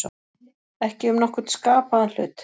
Ekki um nokkurn skapaðan hlut